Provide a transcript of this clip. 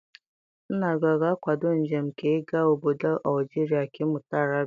Nna gị ọ ga-akwado njem gị ịga ọbọdọ Algeria ka ị mụta Arabic?